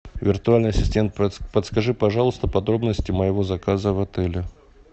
виртуальный ассистент подскажи пожалуйста подробности моего заказа в отеле